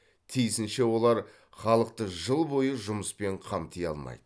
тиісінше олар халықты жыл бойы жұмыспен қамти алмайды